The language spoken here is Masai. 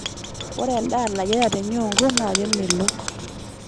Ore endaa nayiara tenyungu naa kemelok.